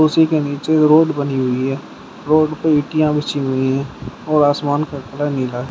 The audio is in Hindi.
उसी के नीचे रोड बनी हुई है रोड पर ईंटें बिछी हुई हैं और आसमान का कलर नीला है।